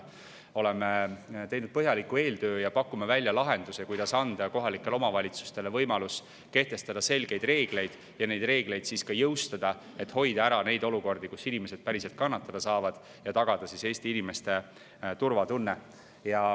Oleme teinud põhjaliku eeltöö ja pakume välja lahenduse, kuidas anda kohalikele omavalitsustele võimalus kehtestada selgeid reegleid ja neid reegleid ka jõustada, et hoida ära olukordi, kus inimesed päriselt kannatada saavad, ja tagada Eesti inimeste turvatunne.